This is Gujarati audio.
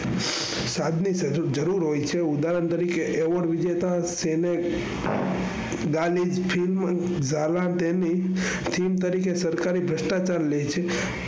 જરૂર હોય છે. ઉદાહરણ તરીકે award વિજેતા theme તરીકે સરકારી ભ્રષ્ટાચાર